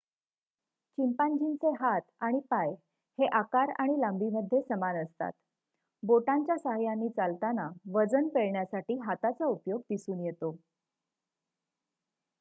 चिंपांझीचे हात आणि पाय हे आकार आणि लांबी मध्ये समान असतात बोटांच्या सहाय्यांनी चालताना वजन पेलण्यासाठी हाताचा उपयोग दिसून येतो